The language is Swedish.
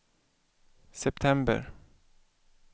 september